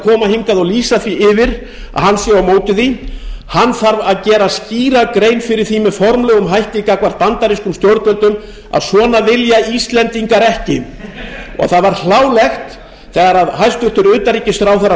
koma hingað og lýsa því yfir að hann sé á móti því hann þarf að gera skýra grein fyrir því með formlegum hætti gangvart bandarískum stjórnvöldum að svona vilja íslendingar ekki og það var hlálegt þegar hæstvirtur utanríkisráðherra fór